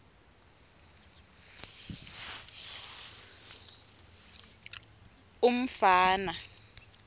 umfana